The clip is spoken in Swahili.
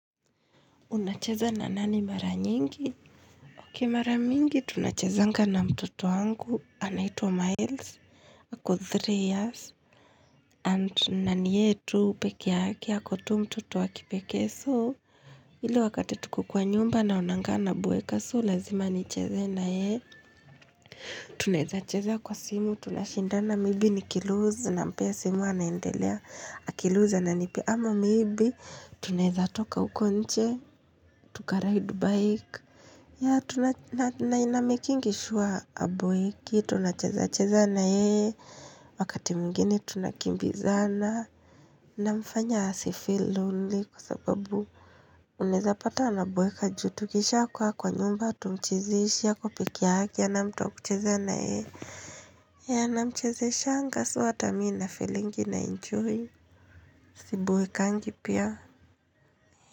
Unacheza na nani mara nyingi? Ok mara mingi tunachezanga na mtoto wangu anaitwa miles ako three years and naniyeye tu peke yake ako tu mtoto wakipekee soo ile wakati tuko kwa nyumba na onanga naboeka so lazima nicheze na yeye Tunaweza cheza kwa simu tunashindana maybe nikiloose nampea simu anaendelea akiloose ana nipiea ama maybe tunaweza toka huko nje tuka ride bike ya tuna namikingisure haboeki, tunachezacheza na yeye, wakati mwigine tunakimbizana. Namfanya asifeel lonely kwa sababu. Uneza pata anaboeka juu, tukisha kuwa kwa nyumba, hatumchezeshi, ako pekee yake, hana mtu wa kuchezana yeye. Ya namchezeshanga so hata mimi na feelingi na enjoy, si boekangi pia.